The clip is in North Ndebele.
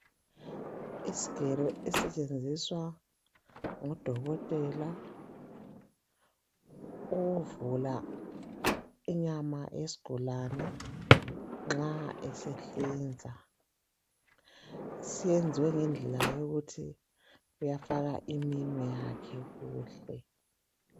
Isigelo esisetshenziswa ngodokotela ukuvula inyama yesigulane nxa esehlinza senziwe ngendlela yokuthi uyafaka iminwe yakhe nxa esehlinza.